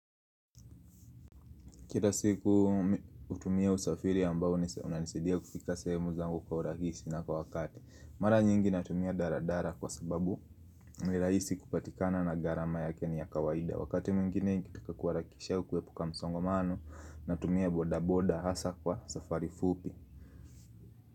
Kira siku utumia usafiri ambao unanisidia kufika sehemu zangu kwa urahisi na kwa wakati. Mara nyingi natumia daradara kwa sababu ni rahisi kupatikana na gharama yake ni ya kawaida. Wakati mwingine nikitaka kuarakisha au kuepuka msongomano natumia bodaboda hasa kwa safari fupi.